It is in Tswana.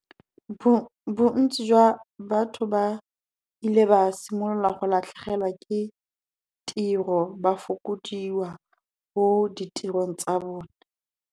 Bontsi jwa batho ba ile ba simolola go latlhegelwa ke tiro, ba fokodiwa mo ditirong tsa bone.